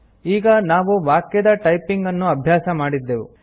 ಈಗ ನಾವು ವಾಕ್ಯದ ಟೈಪಿಂಗ್ ಅನ್ನು ಅಭ್ಯಾಸ ಮಾಡಿದ್ದೆವು